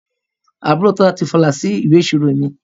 Àbúrò Tola ti falà sí ìwé ìṣirò mi